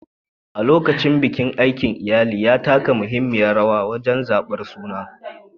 A lokacin bikin, aikin iyali ya taka muhimmiyar rawa wajen zabar sunan.